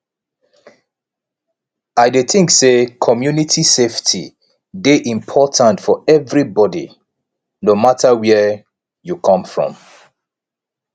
i dey think say community safety dey important for everybody no matter where you come from